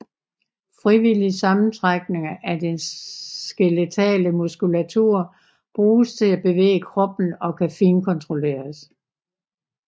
Frivillige sammentrækninger af den skeletale muskulatur bruges til at bevæge kroppen og kan finkontrolleres